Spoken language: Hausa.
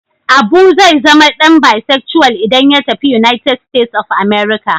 Abu zai zama dan bisexual idan ya tafi United States of America.